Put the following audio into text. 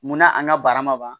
Munna a n'a barama ban